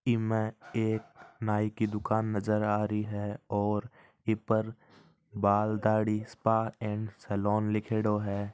इसमे एक नाइ की दुकान है नजर आ रही है और उस पर बाल ढाडी स्पा एंड सलून लिखेड़ो है।